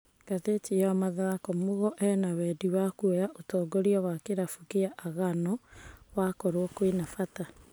(Ngathĩti ya mathako) Mugo ena wendi wa kuoya ũtongoria wa kĩrabu kĩa Agano wakorwo kwĩna bata.